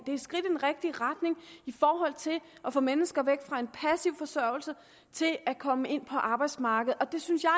er et skridt i den rigtige retning i forhold til at få mennesker væk fra en passiv forsørgelse og til at komme ind på arbejdsmarkedet og det synes jeg